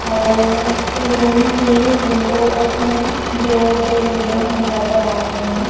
और रुम की window open है जो दो विंडो हमें नजर आ रही है।